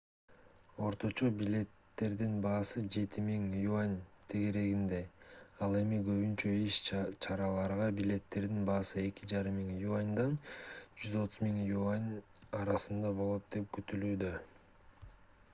орточо билеттердин баасы 7000 ¥ тегерегинде ал эми көбүнчө иш-чараларга билеттердин баасы 2500 ¥— 130,000 ¥ арасында болот деп күтүлүүдө